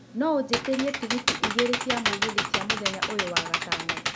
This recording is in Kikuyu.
no ũjĩtĩrie tigiti igĩrĩ cia mũgithi cia mũthenya ũyũ wa gatano